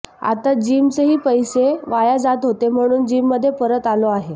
आता जीमचेही पैसए वाया जात होते म्हणून जीममध्ये परत आलो आहे